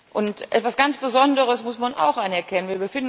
Und etwas ganz Besonderes muss man auch anerkennen.